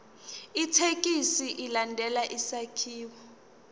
ithekisthi ilandele isakhiwo